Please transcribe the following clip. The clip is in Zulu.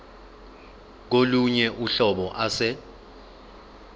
kolunye uhlobo ase